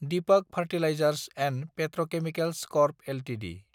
Deepak fertilisers & petrochemicals corp Ltd